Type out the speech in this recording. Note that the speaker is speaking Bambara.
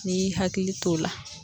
N'i y'i hakili to o la.